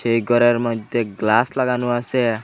এই গরের মইদ্যে গ্লাস লাগানো আসে ।